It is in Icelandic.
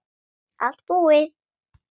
Allt búið